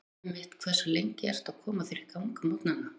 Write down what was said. Rúmið mitt Hversu lengi ertu að koma þér í gang á morgnanna?